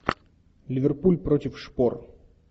ливерпуль против шпор